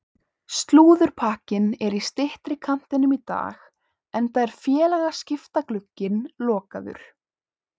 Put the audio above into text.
Slúðurpakkinn er í styttri kantinum í dag enda er félagaskiptaglugginn lokaður.